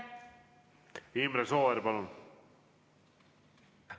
Imre Sooäär, palun!